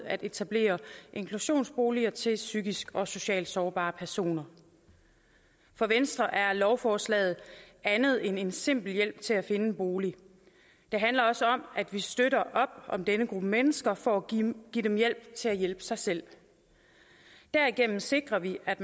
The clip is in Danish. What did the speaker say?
at etablere inklusionsboliger til psykisk og socialt sårbare personer for venstre er lovforslaget andet end en simpel hjælp til at finde en bolig det handler også om at vi støtter op om denne gruppe mennesker for at give give dem hjælp til at hjælpe sig selv derigennem sikrer vi at